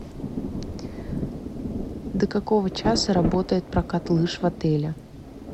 до какого часа работает прокат лыж в отеле